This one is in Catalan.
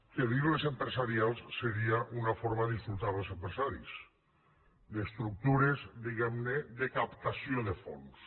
que dir ne empresarials seria una forma d’insultar els empresaris d’estructures diguem ne de captació de fons